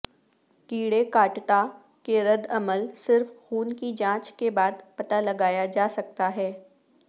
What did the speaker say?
کیڑے کاٹتا کے ردعمل صرف خون کی جانچ کے بعد پتہ لگایا جا سکتا ہے